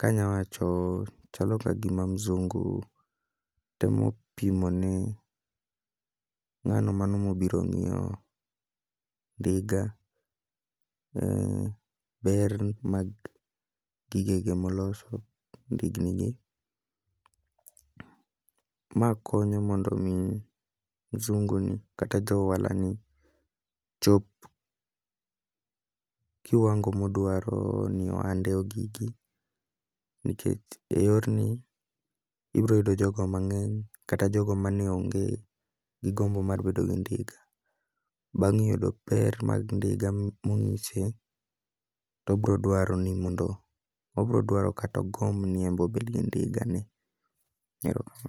kanya wacho chalo ka gima mzungu temo pimo ne ng'ano mano mobiro ng'iweo ndiga, ber mar gige ge moloso, ndigni ge. Ma konyo mondo mi mzungu ni kata ja ohala ni chop kiwango modwaro ni ohande ogike. Nikech e yorni, ibro yudo jogo mang'eny kata jogo mane onge gi gombo mar bedo gi ndiga. Bang' yudo ber mag ndiga mong'ise to obroduaro ni mondo, obrodwaro katogomb ni embobed gi ndiga ni. Erokaman.